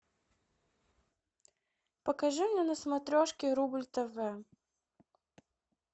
покажи мне на смотрешке рубль тв